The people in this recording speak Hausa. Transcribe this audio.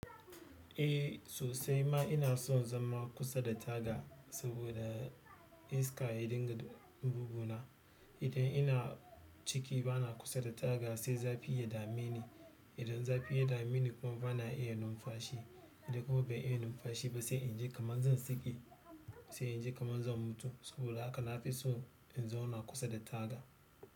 Eh sosai ma ina son zama kusa da taga, saboda iska ya dinga buguna. Idan ina ciki ba na kusa da taga sai zafi ya dame ni. Idan zafi ya dame ni kuma ba na iya numfashi. Idan kuma bai iya numfashi ba sai in je kaman zan saki, sai in ji kaman zan mutu. Saboda haka na fi so in zauna kusa da taga.